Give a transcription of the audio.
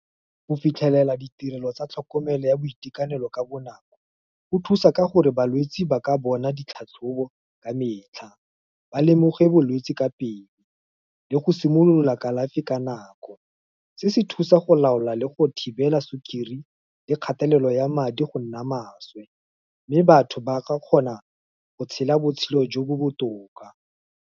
Go fitlhelela ditirelo tsa tlhokomelo ya boitekanelo ka bonako, go thusa ka gore balwetsi ba ka bona ditlhatlhobo, ka metlha, ba lemoge bolwetsi ka pele, le go simolola kalafi ka nako, se se thusa go laola le go thibela sukiri le kgatelelo ya madi go nna maswe, mme batho ba kgona go tshela botshelo jo bo botoka.